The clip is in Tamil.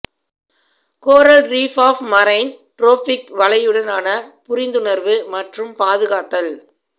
coral reef of marine tropic வலையுடனான புரிந்துணர்வு மற்றும் பாதுகாத்தல்